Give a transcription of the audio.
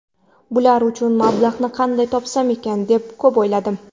Bular uchun mablag‘ni qanday topsam ekan deb ko‘p o‘yladim.